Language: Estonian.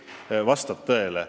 See vastab tõele.